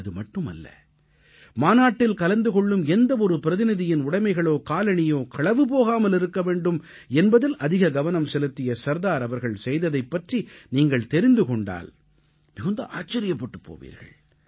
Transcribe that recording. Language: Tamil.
அது மட்டுமல்ல மாநாட்டில் கலந்து கொள்ளும் எந்தவொரு பிரதிநிதியின் உடைமைகளோ காலணியோ களவு போகாமல் இருக்க வேண்டும் என்பதில் அதிக கவனம் செலுத்திய சர்தார் அவர்கள் செய்ததைப் பற்றி நீங்கள் தெரிந்து கொண்டால் மிகுந்த ஆச்சரியப்பட்டுப் போவீர்கள்